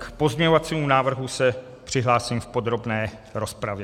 K pozměňovacímu návrhu se přihlásím v podrobné rozpravě.